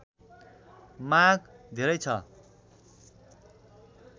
माग धेरै छ